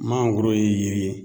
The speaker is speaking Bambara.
Mangoro ye yiri ye